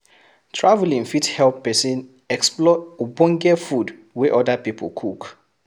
Traveling fit help persin explore ogbonge food wey other pipo cook